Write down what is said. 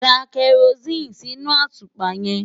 Da kẹrosíìnì sínú àtùpà yẹn.